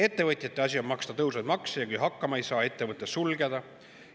Ettevõtjate asi on maksta tõusvaid makse ja kui hakkama ei saa, ettevõte sulgeda.